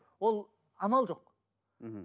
ол амал жоқ мхм